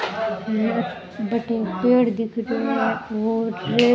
बठ एक पेड़ दिख रो है और --